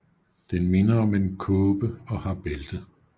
Den minder om en kåbe og har bælte